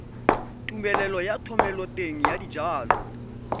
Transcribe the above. tumelelo ya thomeloteng ya dijalo